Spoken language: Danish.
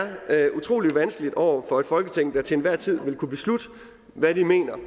utrolig vanskeligt over for et folketing der til enhver tid vil kunne beslutte hvad de mener er